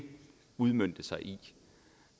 udmønte sig i